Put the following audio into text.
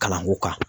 Kalanko kan